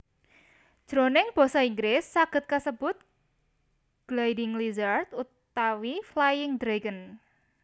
Jroning basa Inggris saged kasebut gliding lizards utawi flying dragon